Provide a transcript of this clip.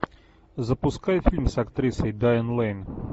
запускай фильм с актрисой дайан лэйн